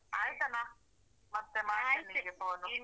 ಆಯ್ತಾನಾ ಮತ್ತೆ ಮತ್ತೆ ಮಾಡ್ತೇನೆ phone .